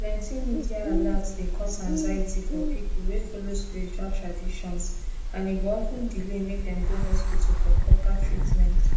plenty media alert dey cause anxiety for people wey follow spiritual traditions and e go of ten delay make dem go hospital for proper treatment